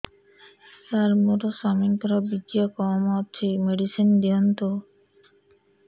ସାର ମୋର ସ୍ୱାମୀଙ୍କର ବୀର୍ଯ୍ୟ କମ ଅଛି ମେଡିସିନ ଦିଅନ୍ତୁ